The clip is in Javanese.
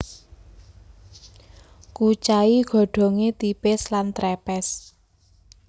Kucai godhongé tipis lan trepes